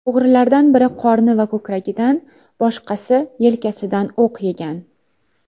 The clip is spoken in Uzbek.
O‘g‘rilardan biri qorni va ko‘kragidan, boshqasi yelkasidan o‘q yegan.